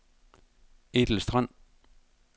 Ethel Strand